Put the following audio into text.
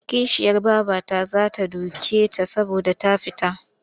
Kishiyar babarta za ta duke ta saboda ta fita.